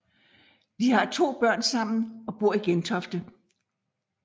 De har to børn sammen og bor i Gentofte